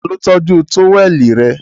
Ta ló tọ́jú tówẹ́ẹ̀nù rẹ?